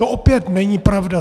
To opět není pravda.